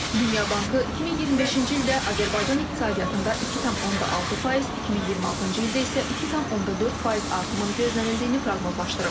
Dünya Bankı 2025-ci ildə Azərbaycan iqtisadiyyatında 2,6%, 2026-cı ildə isə 2,4% artımın gözləndiyini proqnozlaşdırıb.